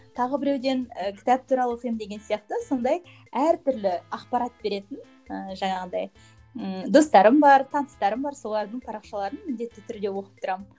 тағы біреуден ы кітап туралы оқимын деген сияқты сондай әртүрлі ақпарат беретін ыыы жаңағындай ммм достарым бар таныстарым бар солардың парақшаларын міндетті түрде оқып тұрамын